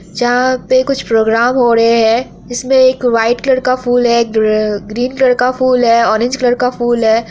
जहां पे कुछ प्रोग्राम हो रहे है| इसमें एक वाइट कलर का फूल है एक अ ग्रीन कलर का फूल है औरेंज कलर का फूल है।